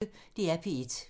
DR P1